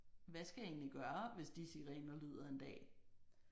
Hvad skal jeg egentlig gøre hvis de sirener lyder en dag